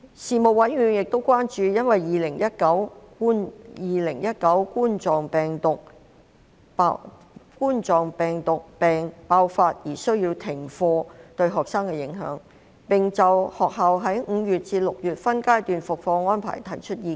事務委員會亦關注因2019冠狀病毒病爆發而需要停課對學生的影響，並就學校在5月至6月分階段復課的安排提出意見。